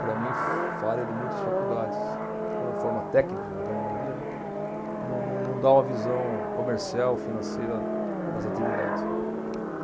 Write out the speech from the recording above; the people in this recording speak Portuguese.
para mim, falha de muitas faculdades, quando forma técnicos, a grande maioria, né, não, não, não dá uma visão comercial, financeira das atividades.